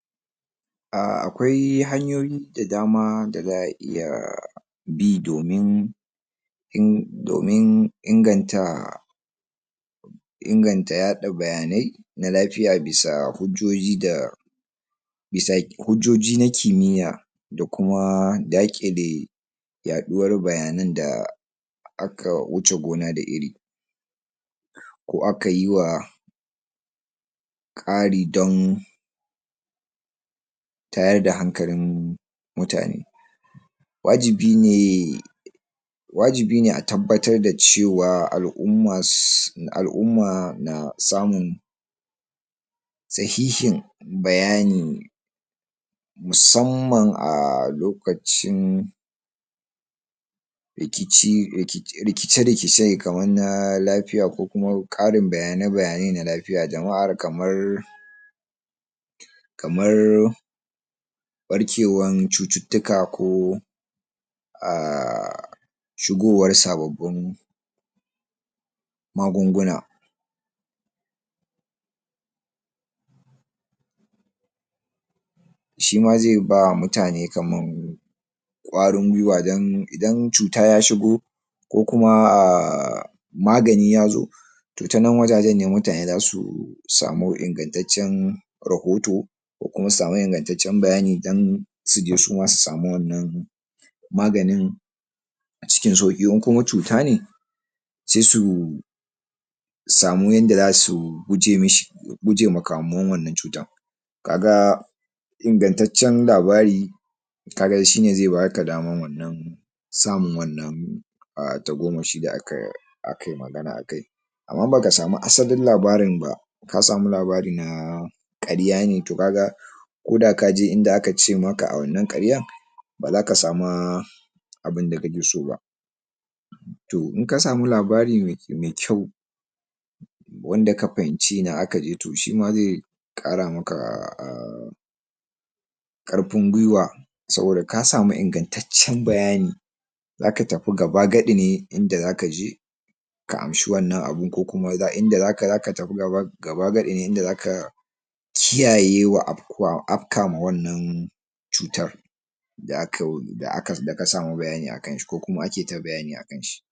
Akwai hayoyi da dama da za'a iya bi domin ing domin inganta inganta yaɗa bayanai na lafiya bias hujjoji da bisa hujjoji na kimiya da kuma daƘile yaɗuwar bayanan da aka wuce gona da iri ko akayiwa Ƙari don tayar da hankalin mutane wajibi ne wajibi ne a tabbatar dacewa al'umma su al'umma na samu sahihin bayani musamman aa lokacin rikici um i rikice rikice kaman na lafiya ko kuma Ƙarin bayane bayanai na lafiya jama'a kamar kamar barkewan cututtuka ko um shugowar sababbin magunguna shima ze ba mutane kaman Ƙwarin qwaiwa dan, idan cuta ya shugu ko kuma um magani yazo to tanan wajajen ne mutane dasu samu ingantaccen rahotu konkuma samu ingantaccen bayani dan suje suma suamu wanan maganin acikin sauƘi in kuma cutane se su samu yanda zasu guje mishi guje ma kamuwan wanan cutan kaga ingantaccen labari kaga shine ze baka daman wannan samun wannan tago mushi ta aka akai magana akai am in baka samu asalin labarin ba kasamu labari naa karya ne to kaga koda kaje inda akace maka a wannan karyan bazaka samaa abunda kakeso ba to inka samu labari me me kyau wanda ka fahimci ina akaje, to shima ze Ƙara maka um Ƙarfin gwiwa saboda ka samu ingantaccen bayani zaka tafi gaba gaɗi ne inda zaka je ka amshi wannan abu ko kuma um zaka tafi gaba gaba gaɗi ne inda zaka kiyaye wa ab wa abka ma wanan cutar da aka um da aka um da ka samu bayani akan shi ko kuma ake ta bayani akan shi